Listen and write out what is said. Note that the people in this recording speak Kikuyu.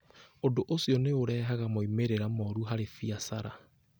Ũndũ ũcio nĩ ũrehaga moimĩrĩro moru harĩ biacara.